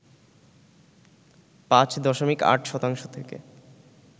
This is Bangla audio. ৫ দশমিক ৮ শতাংশ থেকে